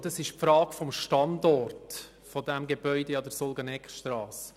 Das ist die Frage des Standorts des Gebäudes an der Sulgeneckstrasse.